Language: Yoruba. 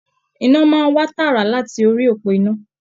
Iná máa n wá tààrà láti orí òpó iná.